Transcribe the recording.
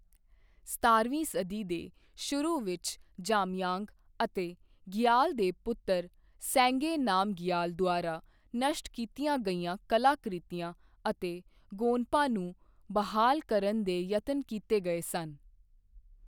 ਸਤਾਰਵੀਂ ਸਦੀ ਦੇ ਸ਼ੁਰੂ ਵਿੱਚ ਜਾਮਯਾਂਗ ਅਤੇ ਗਿਆਲ ਦੇ ਪੁੱਤਰ ਸੇਂਗੇ ਨਾਮਗਿਆਲ ਦੁਆਰਾ ਨਸ਼ਟ ਕੀਤੀਆਂ ਗਈਆਂ ਕਲਾ ਕ੍ਰਿਤੀਆਂ ਅਤੇ ਗੋਨਪਾ ਨੂੰ ਬਹਾਲ ਕਰਨ ਦੇ ਯਤਨ ਕੀਤੇ ਗਏ ਸਨ।